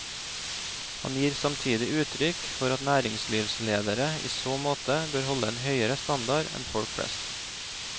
Han gir samtidig uttrykk for at næringslivsledere i så måte bør holde en høyere standard enn folk flest.